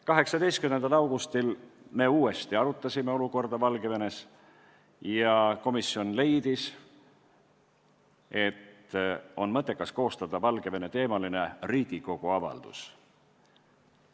18. augustil arutasime Valgevene olukorda uuesti ja komisjon leidis, et mõttekas on koostada Valgevene-teemaline Riigikogu avaldus.